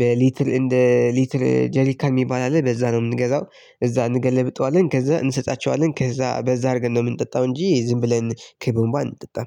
በሊትል እንደ ሊትል ጀሪካ የሚባል አለ በዛ ነው የምንገዛው። እዛ እንገለብጠዋለን ከዛ እንሰጣቸዋለን ከዛ በዛ አድርገን ነው የምንጠጣው እንጂ ዝም ብለን ከቦማ አንጠጣም